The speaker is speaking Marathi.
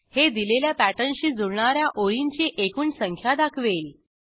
हे दिलेल्या पॅटर्नशी जुळणा या ओळींची एकूण संख्या दाखवेल